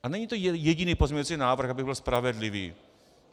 A není to jediný pozměňovací návrh, abych byl spravedlivý.